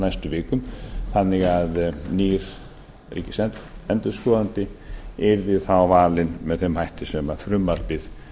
næstu vikum þannig að nýr ríkisendurskoðandi yrði þá valinn með þeim hætti sem frumvarpið